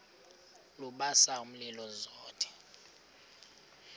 lubasa umlilo zothe